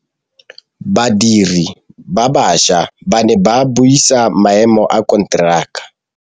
Badiri ba baša ba ne ba buisa maêmô a konteraka.